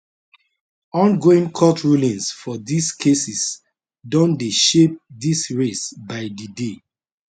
ongoing court rulings for dis cases don dey shape dis race by di day